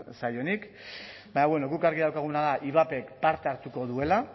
zaionik baina guk argi daukaguna da ivapek parte hartuko duela